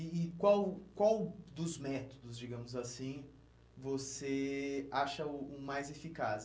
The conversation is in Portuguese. E e qual qual dos métodos, digamos assim, você acha o o mais eficaz?